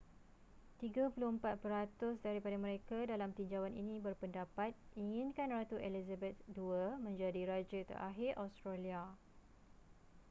34 peratus daripada mereka dalam tinjauan ini berpendapat inginkan ratu elizabeth ii menjadi raja terakhir australia